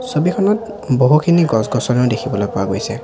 ছবিখনত বহুখিনি গছ-গছনি দেখিবলৈ পোৱা গৈছে।